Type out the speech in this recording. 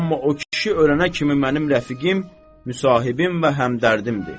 Amma o kişi ölənə kimi mənim rəfiqim, müsahibim və həmdərdimdir.